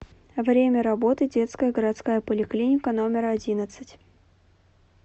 время работы детская городская поликлиника номер одиннадцать